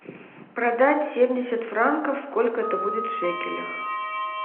продать семьдесят франков сколько это будет в шекелях